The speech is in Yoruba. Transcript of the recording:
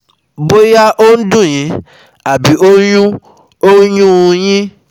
Bóyá ó ń dùn yín àbí ó ń yún ó ń yún un yín